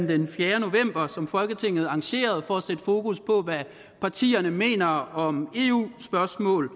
den fjerde november som folketinget arrangerede for at sætte fokus på hvad partierne mener om eu spørgsmål